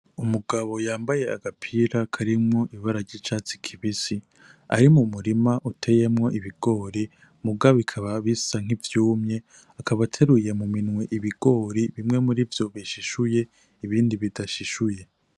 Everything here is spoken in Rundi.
Umugabo yambaye agapira karimwo ibara ry'icatsi kibisi ari mu murima uteyemwo ibigori muga bikaba bisa nk'ivyumye akabateruye mu minwe ibigori bimwe muri vyo bishishuye ibindi bidashishuye.